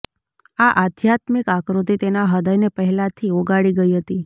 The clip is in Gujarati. આ આધ્યાત્મિક આકૃતિ તેના હૃદયને પહેલાથી ઓગાળી ગઈ હતી